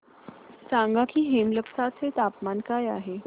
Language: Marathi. सांगा की हेमलकसा चे तापमान काय आहे